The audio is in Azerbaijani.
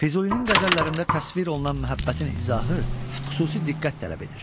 Füzulinin qəzəllərində təsvir olunan məhəbbətin izahı xüsusi diqqət tələb edir.